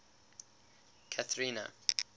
cathrina